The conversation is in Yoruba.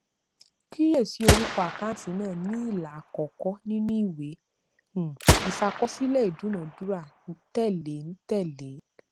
kíyèsí orúkọ àkáǹtì náà ní ilà àkọkọ nínú ìwé um ìṣàkọsílẹ ìdúnadúrà tẹléǹtẹlẹ